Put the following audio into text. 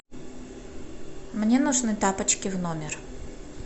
мне нужны тапочки в номер